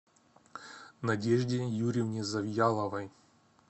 надежде юрьевне завьяловой